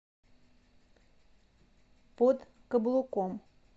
под каблуком